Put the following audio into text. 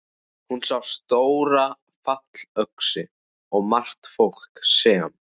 Hún sá stóra fallöxi og margt fólk sem.